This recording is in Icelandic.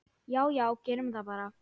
Já já, gerum það bara.